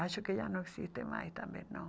Acho que já não existe mais também, não.